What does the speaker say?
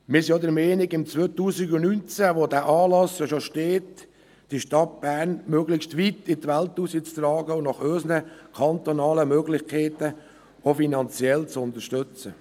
Wir sind auch der Meinung, im 2019, da dieser Anlass ja schon steht, solle man die Stadt Bern möglichst weit in die Welt hinaustragen und nach unseren kantonalen Möglichkeiten auch finanziell unterstützen.